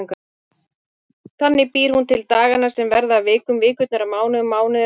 Þannig býr hún til dagana sem verða að vikum, vikurnar að mánuðum, mánuðirnir að árum.